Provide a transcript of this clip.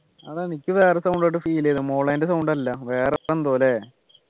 അതാണ് ക്ക് വേറെ sound കേട്ട sound ചെയ്തേ മൊളേൻ്റെ sound അല്ല വേറെ പ്പോ എന്തോ ല്ലേ